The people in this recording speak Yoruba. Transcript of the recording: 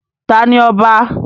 ta ni ọba?